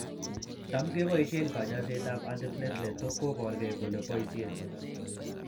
Tam keboisien kanyaiset ab antiplatelet to koborgei kole boisiee